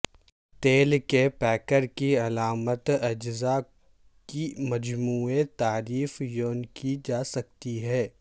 تیل کے پیکر کی علامت اجزاء کی مجموعے تعریف یوں کی جا سکتی ہے